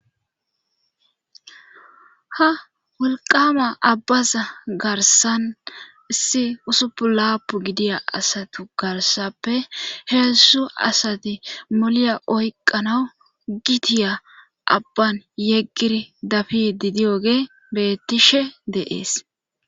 Ha wolqama abbaza garsan issi usupu laapu gidiya asatu garsappe heessu asati moliya oyqanawu gitiya abban yeggiri dafi didiyoge bettishe deees